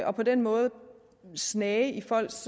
og på den måde snage i folks